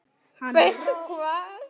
Veistu hvað?